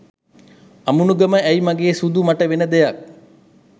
අමුණුගම ඇයි මගේ සුදූ මට වෙන දෙයක්